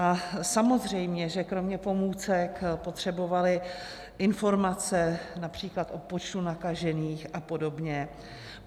A samozřejmě že kromě pomůcek potřebovaly informace například o počtu nakažených a podobně.